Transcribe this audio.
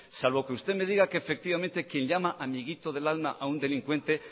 salvo que usted me diga que efectivamente quien llama amiguito del alma a un delincuente